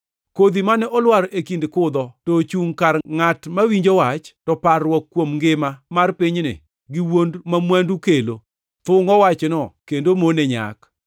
Kodhi mane olwar e kind kudho to ochungʼ kar ngʼat mawinjo wach, to parruok kuom ngima mar pinyni gi wuond ma mwandu kelo thungʼo wachno kendo mone nyak.